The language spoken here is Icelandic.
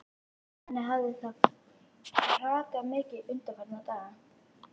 Henni hafði þá hrakað mikið undanfarna daga.